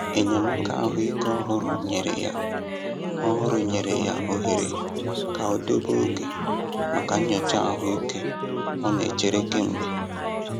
Enyémàkà ahụ́ ike òhùrù nyere ya òhùrù nyere ya ohere ka ọ debe oge maka nyocha ahụ́ ike ọ na-echere kemgbe.